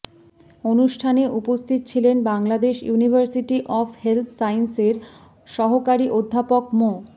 অনুষ্ঠানে উপস্থিত ছিলেন বাংলাদেশ ইউনিভার্সিটি অফ হেলথ সাইন্সের সহকারী অধ্যাপক মো